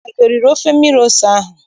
Nna gị eriri ofe mmiri ose ahụ?